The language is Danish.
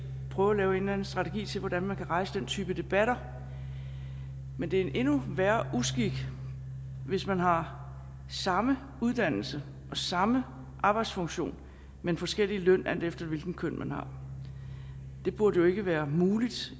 prøve at lave en eller anden strategi til hvordan man kan rejse den type debatter men det er en endnu værre uskik hvis man har samme uddannelse og samme arbejdsfunktion men forskellig løn alt efter hvilket køn man har det burde jo ikke være muligt